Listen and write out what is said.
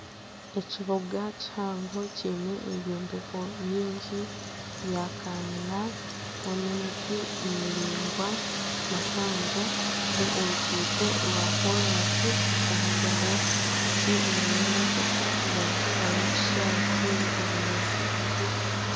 Ekibuga kihango kiine ebyombeko biingi bya kanyina harimu n'emiti miringwa mihango n'oruguuto rwa koraasi ruri kuvugirwaho piki nana emotoka. Aharubaju hariho ekishayi kiine obunyaatsi bugufu.